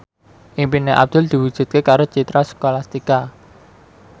impine Abdul diwujudke karo Citra Scholastika